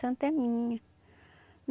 santa é minha.